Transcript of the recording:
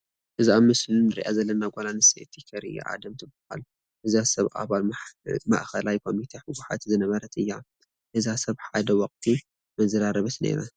እዛ ኣብ ምስሉ ንሪኣ ዘለና ጓል ኣነስተይቲ ኬርያ ኣደም ትበሃል፡፡ እዛ ሰብ ኣባል ማእከላይ ኮሚቴ ሕወሓት ዝነበረት እያ፡፡ እዛ ሰብ ሓደ ወቕቲ መዘራረቢት ነይራ፡፡